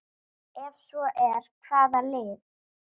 Ef svo er, hvaða lið?